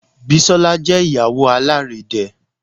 Bisola jẹ́ Ìyàwó alárédè